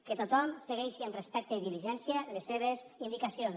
que tothom segueixi amb respecte i diligència les seves indicacions